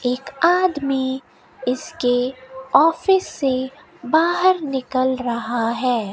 एक आदमी इसके ऑफिस से बाहर निकल रहा है।